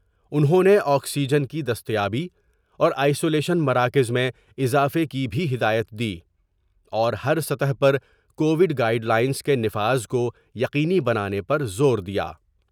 انہوں نے آکسیجن کی دستیابی اور آئسولیشن مراکز میں اضافہ کی بھی ہدایت دی اور ہر سطح پر کوڈ گائیڈ لائینس کے نفاذ کویقینی بنانے پر زور دیا ۔